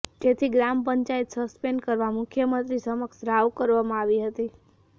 જેથી ગ્રામ પંચાયત સસ્પેન્ડ કરવા મુખ્યમંત્રી સમક્ષ રાવ કરવામાં આવી હતી